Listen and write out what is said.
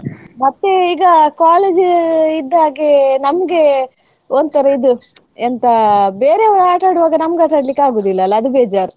ಮತ್ತೆ ಈಗ college ಇದ್ದಾಗೆ ನಮ್ಗೆ ಒಂತರಾ ಇದು ಎಂತಾ ಬೇರೆಯವ್ರು ಆಟಾಡುವಾಗ ನಮ್ಗೆ ಆಟಾಡ್ಲಿಕ್ಕೆ ಆಗುದಿಲ್ಲ ಅಲಾ ಅದು ಬೇಜಾರ್.